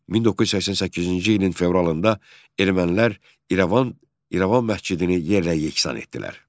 1988-ci ilin fevralında ermənilər İrəvan məscidini yerlə-yeksan etdilər.